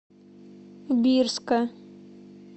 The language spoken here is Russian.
бирска